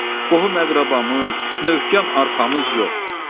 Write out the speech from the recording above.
Qohum-əqrəbamız, möhkəm arxamız yox.